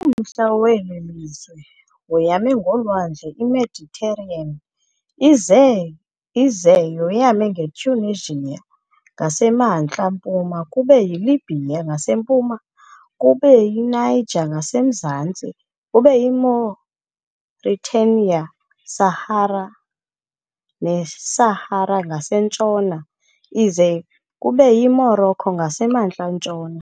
Umntla weli lizwe woyame ngolwandle iMediterranean, ize ize yoyame nge-Tunisia ngaseMntla-Mpuma, kube yi-Libya ngasempuma, kube yiNiger ngasemzantsi, kube yiMauritania Sahara neSahara ngasentshona, ize kube yiMorocco ngasemntla-ntshona.